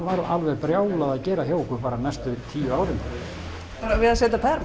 var alveg brjálað að gera hjá okkur næstu tíu árin við að setja